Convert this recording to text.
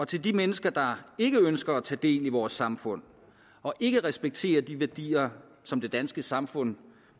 til de mennesker der ikke ønsker at tage del i vores samfund og ikke respekterer de værdier som det danske samfund